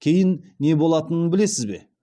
кейін не болатынын білесіз бе